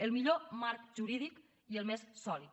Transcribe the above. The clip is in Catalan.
el millor marc jurídic i el més sòlid